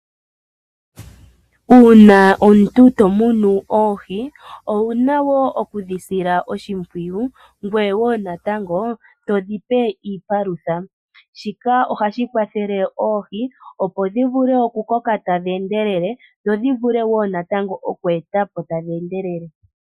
Uuna omuntu to munu oohi owuna woo okudhi sila oshimpwiyu ngoye woo natango to dhi pe iipalutha, shika ohashi kwathele oohi opo dhi vule oku ko ka tadhi endelele dho dhi vule woo natango oku e ta po tadhi endelele.